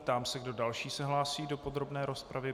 Ptám se, kdo další se hlásí do podrobné rozpravy.